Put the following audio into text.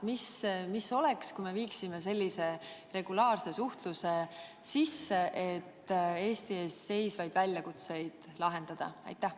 Mis oleks, kui me viiksime sellise regulaarse suhtluse sisse, et Eesti ees seisvaid väljakutseid lahendada?